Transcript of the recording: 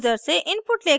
user से input लेकर